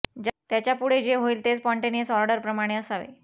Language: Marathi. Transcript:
त्याच्यापुढे जे होईल ते स्पॉन्टेनियस ऑर्डर प्रमाणे असावे